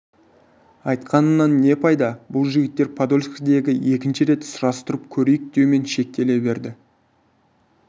айтқанымнан не пайда бұл жігіттер подольскідегі екінші рет сұрастырып көрейік деумен шектеле берді